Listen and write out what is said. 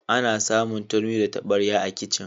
Ana samun turmi da tabarya a kicin.